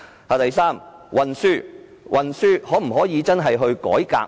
第三，在運輸方面可否進行改革？